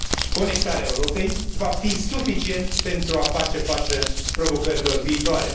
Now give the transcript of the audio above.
Conectarea Europei, va fi suficient pentru a face față provocărilor viitoare?